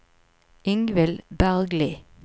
Ingvill Bergli